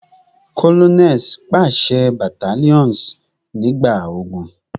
Colonels paṣẹ battalions nigba ogun